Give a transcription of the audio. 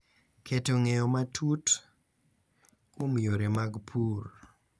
Keto ng’eyo matut kuom yore mag pur